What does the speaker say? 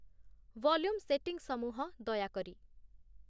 volume ସେଟିଂସମୂହ ଦୟାକରି